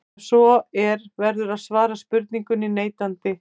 Ef svo er verður að svara spurningunni neitandi.